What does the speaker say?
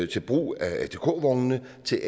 til brug af atk vognene til